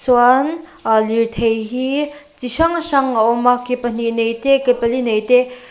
chuan aa lirthei hi chi hrang hrang a awm a ke pahnih nei te ke pali nei te--